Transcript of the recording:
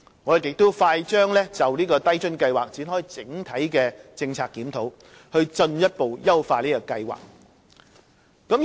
我們快將就低津計劃展開整體政策檢討，以進一步優化計劃。